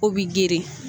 O bi girin